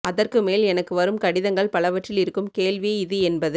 அதற்குமேல் எனக்கு வரும் கடிதங்கள் பலவற்றில் இருக்கும் கேள்வி இது என்பது